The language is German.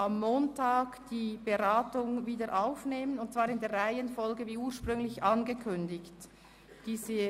Am Montag werden wir die Beratungen wieder aufnehmen und sie in der ursprünglich angekündigten Reihenfolge fortsetzen.